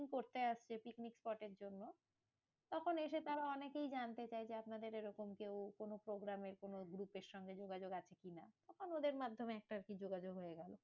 Booking করতে আসছে picnic spot এর জন্য, তখন এসে তারা অনেকেই জানতে চায় যে আপনাদের এরকম কেউ কোনো programme এর কোনো group এর সঙ্গে যোগাযোগ আছে কি না? তখন ওদের মাধ্যমে একটা আরকি যোগাযোগ হয়ে গেলো।